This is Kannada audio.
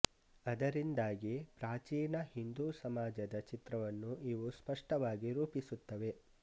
ಅದರಿಂದಾಗಿ ಪ್ರಾಚೀನ ಹಿಂದೂ ಸಮಾಜದ ಚಿತ್ರವನ್ನು ಇವು ಸ್ಪಷ್ಟವಾಗಿ ರೂಪಿಸುತ್ತವೆ